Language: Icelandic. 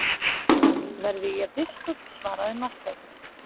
Verði ég biskup, svaraði Marteinn.